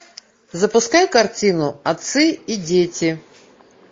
запускай картину отцы и дети